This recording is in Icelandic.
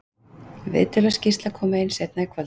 Viðtöl og skýrsla koma inn seinna í kvöld.